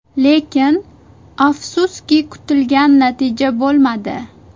Lekin, afsuski, kutilgan natija bo‘lmadi.